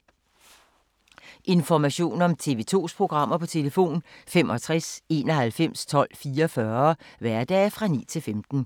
Information om TV 2's programmer: 65 91 12 44, hverdage 9-15.